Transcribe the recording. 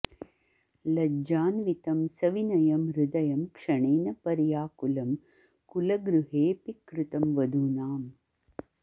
लज्जान्वितं सविनयं हृदयं क्षणेन पर्याकुलं कुलगृहेऽपि कृतं वधूनाम्